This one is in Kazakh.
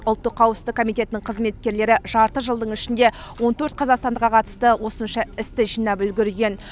ұлттық қауіпсіздік комитетінің қызметкерлері жарты жылдың ішінде он төрт қазақстандыққа қатысты осынша істі жинап үлгерген